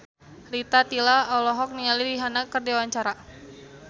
Rita Tila olohok ningali Rihanna keur diwawancara